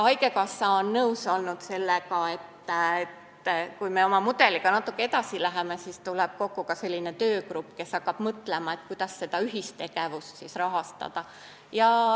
Haigekassa on olnud nõus sellega, et kui me oma mudeliga natuke edasi läheme, siis tuleb kokku ka selline töögrupp, kes hakkab mõtlema, kuidas seda ühistegevust rahastada.